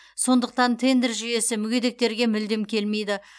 сондықтан тендер жүйесі мүгедектерге мүлдем келмейді